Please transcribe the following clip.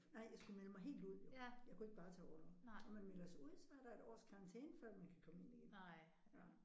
Nej jeg skulle melde mig helt ud jo. Jeg kunne ikke bare tage orlov. Når man melder sig ud så er der et års karantæne før man kan komme ind igen